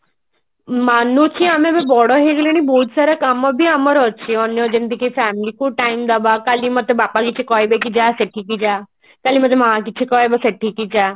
ମନୁଛି ଆମେ ବହୁତ ବଡ ହେୟହେଇଗଲେଣି ବହୁଅତ ସାରା କାମ ବି ଆମର ଅଛି ଅନ୍ୟ ଯେମତି family କୁ time ଦବା କାଲି ମତେ ବାପା କିଛି କହିବେ କି ଯା ସେଠିକି କଲେ ମତ ଅମା କିଛି କହିବ ସେଠିକି ଯା